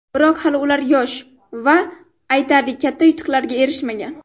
Biroq hali ular yosh va aytarli katta yutuqlarga erishmagan.